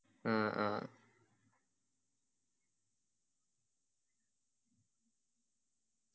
ഹും അ